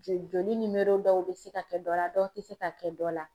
Joli joli dɔw bɛ se ka kɛ dɔ la dɔw tɛ se ka kɛ dɔ la.